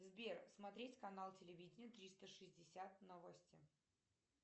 сбер смотреть канал телевидения триста шестьдесят новости